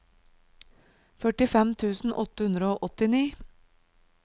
førtifem tusen åtte hundre og åttini